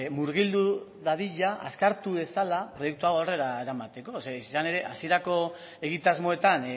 murgildu dadila azkartu dezala proiektu hau aurrera eramateko zer izan ere hasierako egitasmoetan